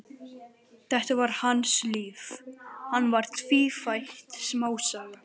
Þetta var hans líf, hann var tvífætt smásaga.